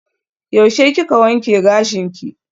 Yaushe kika wanke gashinki?